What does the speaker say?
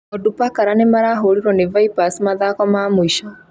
Ondupakara nĩ marahũrirwo nĩ Vipers mathako ma mũico